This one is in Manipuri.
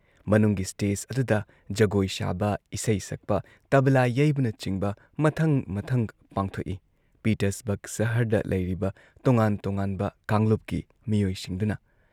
ꯃꯅꯨꯡꯒꯤ ꯁ꯭ꯇꯦꯖ ꯑꯗꯨꯗ ꯖꯒꯣꯏ ꯁꯥꯕ, ꯏꯁꯩ ꯁꯛꯄ, ꯇꯕꯂꯥ ꯌꯩꯕꯅꯆꯤꯡꯕ ꯃꯊꯪ ꯃꯊꯪ ꯄꯥꯡꯊꯣꯛꯏ ꯄꯤꯇꯔꯁꯕꯔꯒ ꯁꯍꯔꯗ ꯂꯩꯔꯤꯕ ꯇꯣꯉꯥꯟ ꯇꯣꯉꯥꯟꯕ ꯀꯥꯡꯂꯨꯞꯀꯤ ꯃꯤꯑꯣꯏꯁꯤꯡꯗꯨꯅ ꯫